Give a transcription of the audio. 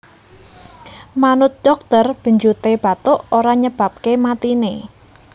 Manut dhokter benjuté bathuk ora nyebabaké matiné